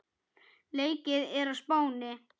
Leikið er á Spáni.